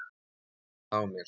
Ég finn það á mér.